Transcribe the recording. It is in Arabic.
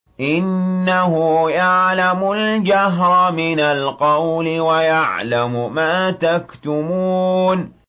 إِنَّهُ يَعْلَمُ الْجَهْرَ مِنَ الْقَوْلِ وَيَعْلَمُ مَا تَكْتُمُونَ